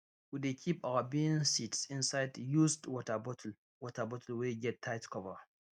we dey keep our bean seeds inside used water bottle water bottle wey get tight cover